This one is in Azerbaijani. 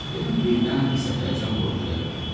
Dedim birdən sətəlcəm olub ölərəm.